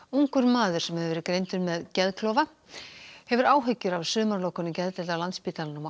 ungur maður sem hefur verið greindur með geðklofa hefur áhyggjur af sumarlokunum geðdeilda á Landspítalanum og